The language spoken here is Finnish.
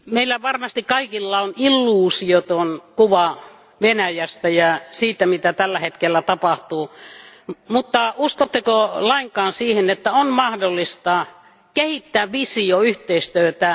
Arvoisa puhemies, meillä varmasti kaikilla on illuusioton kuva Venäjästä ja siitä, mitä tällä hetkellä tapahtuu, mutta uskotteko lainkaan siihen, että on mahdollista kehittää visioyhteistyötä,